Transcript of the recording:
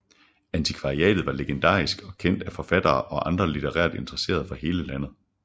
Antikvariatet var legendarisk og kendt af forfattere og andre litterært interesserede fra hele landet